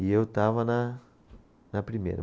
E eu estava na, na primeira.